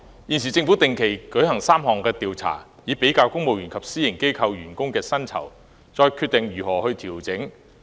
現時，政府定期進行3項調查，以比較公務員與私營機構員工的薪酬，然後再決定如何作出調整。